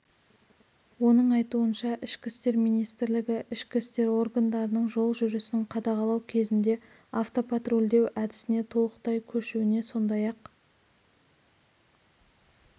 оның айтуынша ішкі істер министрлігі ішкі істер органдарының жол жүрісін қадағалау кезінде автопатрульдеу әдісіне толықтай көшуіне сондай-ақ